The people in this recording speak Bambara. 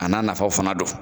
A nafaw fana don.